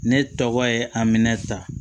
Ne tɔgɔ ye aminɛn ta